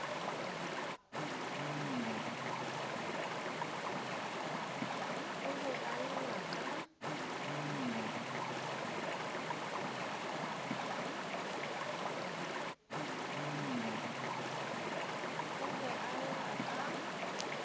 o be a lla ka